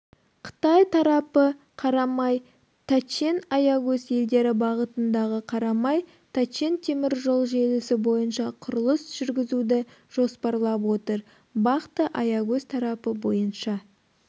қытай тарапы карамай-тачен-аягөз елдері бағытындағы карамай-тачен теміржолы желісі бойынша құрылыс жүргізуді жоспарлап отыр бақты-аягөз тарапы бойынша